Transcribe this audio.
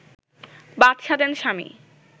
বাধ সাধেন স্বামী